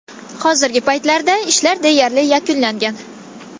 Hozirgi paytda ishlar deyarli yakunlangan.